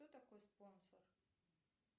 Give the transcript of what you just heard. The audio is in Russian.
кто такой спонсор